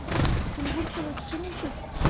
кунгурцева четырнадцать